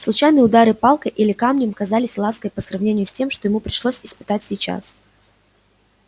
случайные удары палкой или камнем казались лаской по сравнению с тем что ему пришлось испытать сейчас